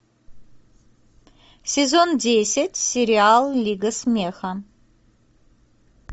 сезон десять сериал лига смеха